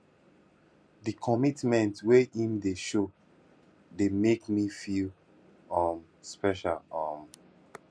di commitment wey im dey show dey make me feel um special um